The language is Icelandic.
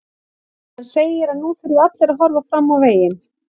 Hann segir að nú þurfi allir að horfa fram veginn.